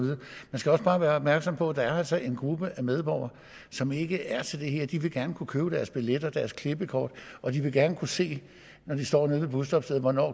bare være opmærksom på at der altså er en gruppe af medborgere som ikke er til det her de vil gerne kunne købe deres billet og deres klippekort og de vil gerne kunne se når de står ved busstoppestedet hvornår